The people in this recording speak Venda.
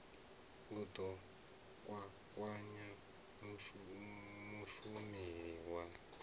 u ḓo kwakwanya mushumeli wa